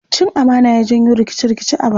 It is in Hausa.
Cin amana ya janyo rikice-rikice a baya.